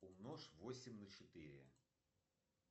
умножь восемь на четыре